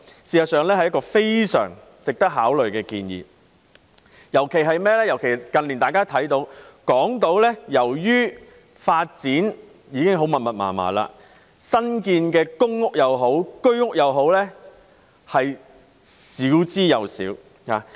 事實上，這是一項非常值得考慮的建議，尤其是近年港島的發展已經非常密集，新建的公屋及居屋亦少之又少。